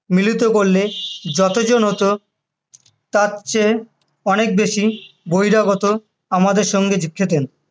মিলিত করলে যতজন হত, তার চেয়ে অনেক বেশি বহিরাগত আমাদের সঙ্গে খেতেন,